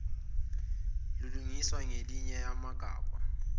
lilungiswa ngelinye yamgabha